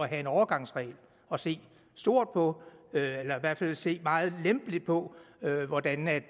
have en overgangsregel og se stort på eller i hvert fald se meget lempeligt på hvordan man